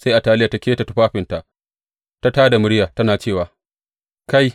Sai Ataliya ta keta tufafinta ta tā da murya tana cewa, Kai!